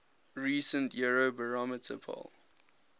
recent eurobarometer poll